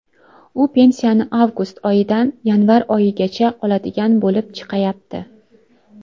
U pensiyani avgust oyidan yanvar oyigacha oladigan bo‘lib chiqayapti.